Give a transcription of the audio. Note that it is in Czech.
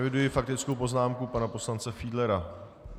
Eviduji faktickou poznámku pana poslance Fiedlera.